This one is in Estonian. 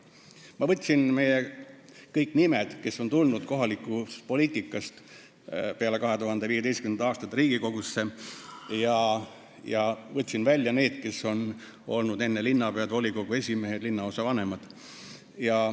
" Ma võtsin välja kõik nimed, kes on tulnud kohalikust poliitikast peale 2015. aastat Riigikogusse, ning need, kes on enne olnud linnapead, volikogu esimehed või linnaosa vanemad.